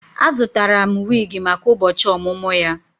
Azụtara m wig maka ụbọchị ọmụmụ ya